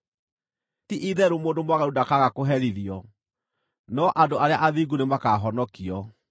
Ti-itherũ mũndũ mwaganu ndakaaga kũherithio, no andũ arĩa athingu nĩmakahonokio.